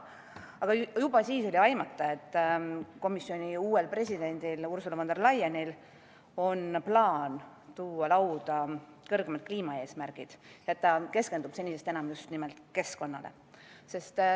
Aga juba siis oli aimata, et komisjoni uuel presidendil Ursula von der Leyenil on plaan tuua lauda kõrgemad kliimaeesmärgid ja et ta keskendub senisest enam just nimelt keskkonnale.